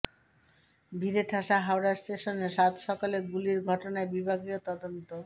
ভিড়ে ঠাসা হাওড়া স্টেশনে সাতসকালে গুলির ঘটনায় বিভাগীয় তদন্ত